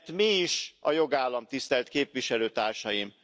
Mert mi is a jogállam, tisztelt képviselőtársaim?